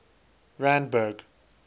randburg